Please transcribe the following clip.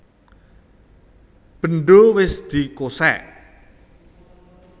Bendho wis dikosèk